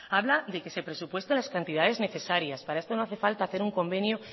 habla de que se presupueste las cantidades necesarias para esto no hace falta hacer un convenio